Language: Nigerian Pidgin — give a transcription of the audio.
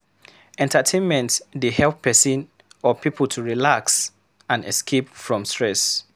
Entertainment dey help person or pipo to relax and escape from stress